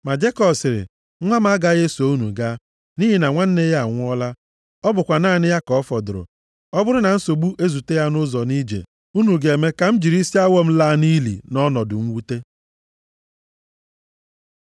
Ma Jekọb sịrị, “Nwa m agaghị eso unu gaa. Nʼihi na nwanne ya anwụọla, ọ bụkwa naanị ya ka ọ fọdụrụ. Ọ bụrụ na nsogbu ezute ya nʼụzọ nʼije a, unu ga-eme ka m jiri isi awọ m laa nʼili nʼọnọdụ mwute.”